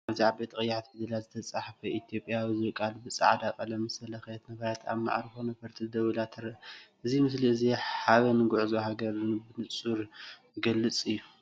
ኣብዚ ብዓበይቲ ቀያሕቲ ፊደላት ዝተጻሕፈ ‘ኢትዮጵያዊ’ ዝብል ቃል ብጻዕዳ ቀለም ዝተለኽየት ነፋሪት ኣብ መዕርፎ ነፈርቲ ደው ኢላ ትርአ። እዚ ምስሊ እዚ ሓበን ጉዕዞን ሃገርን ብንጹር ዝገልጽ እዩ።